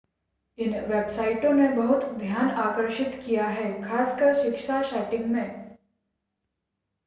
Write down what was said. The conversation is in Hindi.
इन वेबसाइटों ने बहुत ध्यान आकर्षित किया है खासकर शिक्षा सेटिंग में